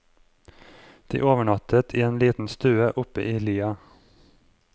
De overnattet i en liten stue oppe i lia.